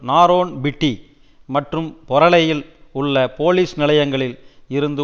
நாரோன்பிட்டி மற்றும் பொரளையில் உள்ள போலிஸ் நிலையங்களில் இருந்து